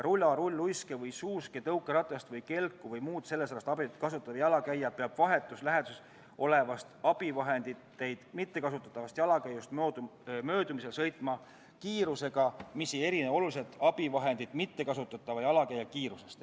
Rula, rulluiske või -suuski, tõukeratast või -kelku või muud sellesarnast abivahendit kasutatav jalakäija peab vahetus läheduses olevast abivahendeid mittekasutatavast jalakäijast möödumisel sõitma kiirusega, mis ei erine oluliselt abivahendit mittekasutava jalakäija kiirusest.